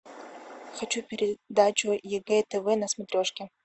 хочу передачу егэ тв на смотрешке